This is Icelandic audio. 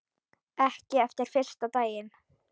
Ekki eftir fyrsta daginn.